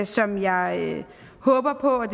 som jeg håber på